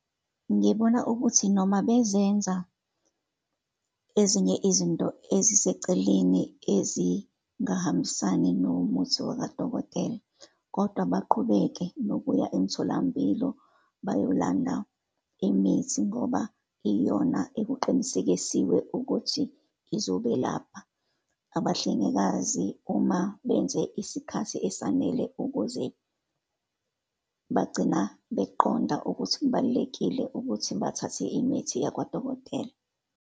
Ngibona ukuthi noma bezenza ezinye izinto eziseceleni ezingahambisani nomuthi wakadokotela, kodwa baqhubeke nokuya emtholampilo bayolanda imithi, ngoba iyona ekuqinisekisiwe ukuthi izobe lapha. Abahlengikazi uma benze isikhathi esanele ukuze bagcina beqonda ukuthi kubalulekile ukuthi bathathe imithi yakwadokotela